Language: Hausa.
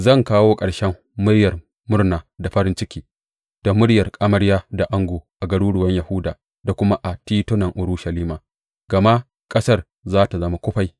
Zan kawo ƙarshen muryar murna da farin ciki da muryar amarya da ango a garuruwan Yahuda da kuma a titunan Urushalima, gama ƙasar za tă zama kufai.